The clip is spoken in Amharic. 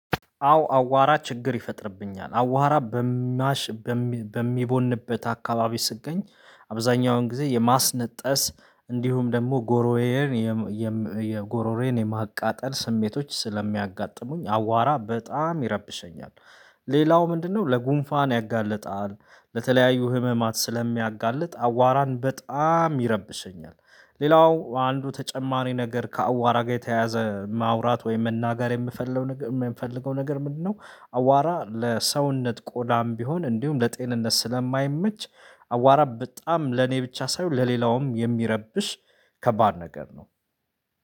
አዎ አቧራ ችግር ይፈጥርብኛል አቧራ በሚቦንበት አካባቢ ስትገኝ አብዛኛውን ጊዜ የማስነጠስ እንዲሁም ደግሞ ጎሮሮየን የጎሮሮዩን የማቃጠል ስሜቶች ስለሚያጋጥሙኝ አቧራ በጣም ይረብሸኛል። ሌላው ምንድን ነው? ለጉንፋን ያጋልጣል ለተለያዩ ህመማት ስለሚያጋልጥ አቧራን በጣም ይረብሽኛል። ሌላው አንዱ ተጨማሪ ነገር ከአቧራ ጋር የተያያዘ ማውራት ወይም መናገር የምፈልገው ነገር የምፈልገው ነገር ምንድነው? አቧራ ለሰውነት ቆዳም ቢሆን እንዲሁም ለጤንነት ስለማይመች አቧራ በጣም ለኔ ብቻ ሳይሆን ለሌላውም የሚረብሽ ከባድ ነገር ነው።